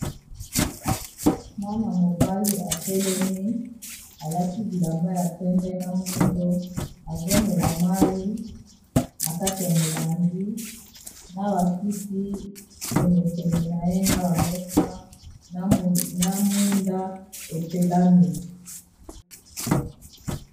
Mwana mobali atelemi, alati bilamba ya pembe na mwindo azomela mayi na kati ya molangi na bakiti pene pene na ye na ba mesa na mwinda epelami.